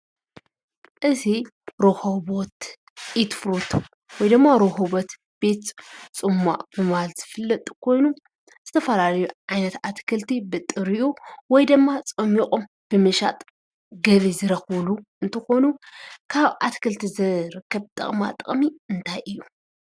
እዚ ሮኮቦት ኢት ፍሩቶ ሮኮቦት ቤት ፅማቒ ብምባል ዝፍለጥ ኮይኑ ዝተፈላለዩ ዓይነት ኣትክልቲ ብጥሪኡ ወይ ድማ ፀሚቖም ብምሻጥ ገቢ ዝርኽብሉ እንትኾኑ ካብ ኣትክልቲ ዝርከብ ጥቕማጥቕሚ እንታይ እዩ?